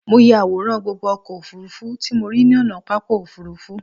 Mo ya àwòrán gbogbo ọkọ̀ òfurufú tí mo rí ní ònà pápá òfurufú